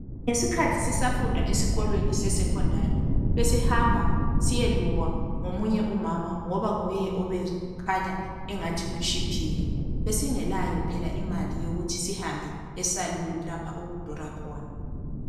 Ngesikhathi sisafunda esikolweni sesekhondari besihamba siyelukwa ngomunye umama ngoba nguye obekhanya engathi utshiphile. Besingelayo phela imali yokuthi sihambe esaluni lapha okudura khona.